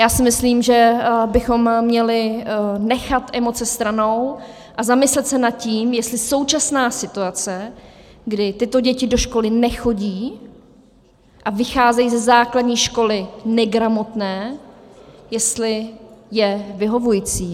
Já si myslím, že bychom měli nechat emoce stranou a zamyslet se nad tím, jestli současná situace, kdy tyto děti do školy nechodí a vycházejí ze základní školy negramotné, jestli je vyhovující.